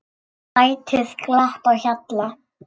Ætíð glatt á hjalla.